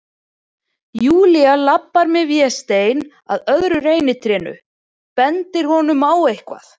Júlía labbar með Véstein að öðru reynitrénu, bendir honum á eitthvað.